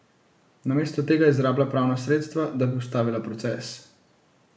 Namesto tega izrablja pravna sredstva, da bi ustavila proces.